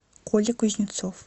коля кузнецов